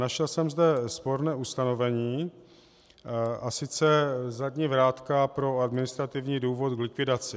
Našel jsem zde sporné ustanovení, a sice zadní vrátka pro administrativní důvod k likvidaci.